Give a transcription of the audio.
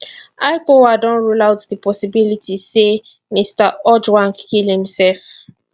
ipoa don also rule out di possibility say mr ojwang kill himself